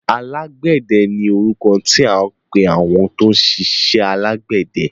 Alágbẹ̀dẹ ni orúkọ tí à ń pẹ àwọn tó ń ṣiṣẹ àgbẹ̀dẹ.